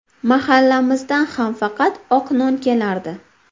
Mahallamizdan ham faqat oq non kelardi.